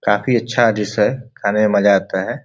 काफी अच्छा डिश है। खाने में मजा आता है।